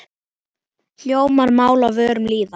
Hljómar mál á vörum lýða.